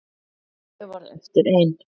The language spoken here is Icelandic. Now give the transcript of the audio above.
Og ég varð eftir ein.